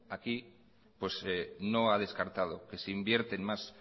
aquí pues no ha descartado que se invierten más